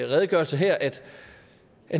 redegørelse her at